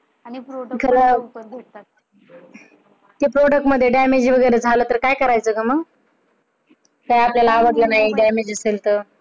, ते प Product मध्ये damage वगैरे झाले तर काई करायचे? जर आपल्याला आवडले नाही damage असेल तर?